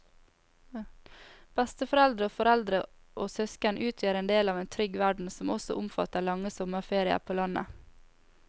Besteforeldre og foreldre og søsken utgjør en del av en trygg verden som også omfatter lange sommerferier på landet.